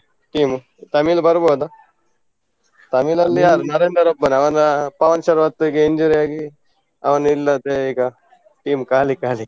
Team Tamil ಬರ್ಬೊದಾ? Tamil ಅಲ್ಲಿ ಯಾರು? ನರೇಂದರ್ ಒಬ್ಬನೇ ಅವನ ಪವನ್ ಶರತ್ ಗೆ injury ಆಗಿ ಅವನಿಲ್ಲದೆ ಈಗ team ಖಾಲಿ ಖಾಲಿ.